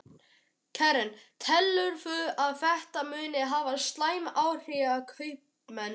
Karen: Telurðu að þetta muni hafa slæm áhrif á kaupmenn?